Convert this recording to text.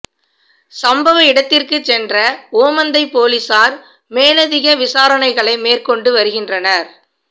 சம்பவ இடத்திற்குச் சென்ற ஓமந்தைப் பொலிஸார் மேலதிக விசாரணைகளை மேற்கொண்டு வருகின்றனர்